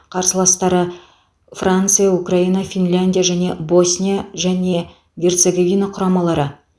қарсыластары франция украина финляндия және босния және герцоговина құрамалары